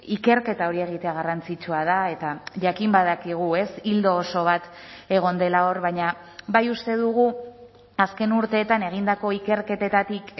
ikerketa hori egitea garrantzitsua da eta jakin badakigu ez ildo oso bat egon dela hor baina bai uste dugu azken urteetan egindako ikerketetatik